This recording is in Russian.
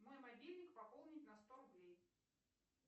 мой мобильник пополнить на сто рублей